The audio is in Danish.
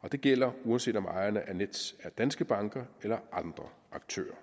og det gælder uanset om ejerne af nets er danske banker eller andre aktører